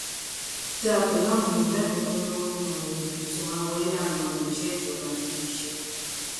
dáa pèlú àwọn èèyàn láìkókó lówó nínú awuyewuye tó máa ń wáyé láàárín àwọn òṣìṣé ìjọba níbi iṣé